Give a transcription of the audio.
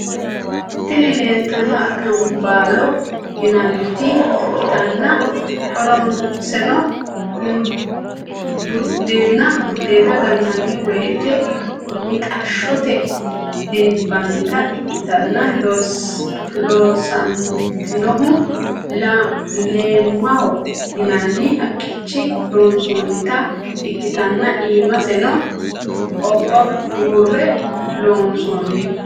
Tini lelitanoti acanibbalo yinannit ikitana horroseno budena gananiwoyite mixashshote dinabanita ikitana loosanitinohuno lemaho yinanni haqqichini loosanitinota ikitana imasseno obba burre loosanni.